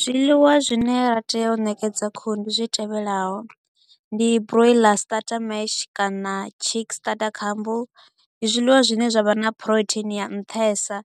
Zwiḽiwa zwine ra tea u nekedza khuhundi zwi tevhelaho, ndi broiler starter mash kana cheeks starter, ndi zwiḽiwa zwine zwa vha na protein ya nṱhesa,